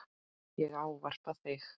Ég ávarpa þig